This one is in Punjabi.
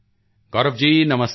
ਗੌਰਵ ਜੀ ਨਮਸਤੇ